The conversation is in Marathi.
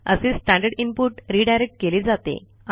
असे स्टँडर्ड इनपुट रिडायरेक्ट केले जाते